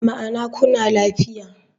Ma'ana kuna lafiya.